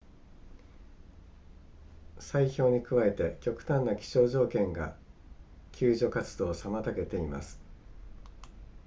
砕氷に加えて極端な気象条件が救助活動を妨げています